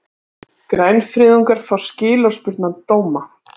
Grænfriðungar fá skilorðsbundna dóma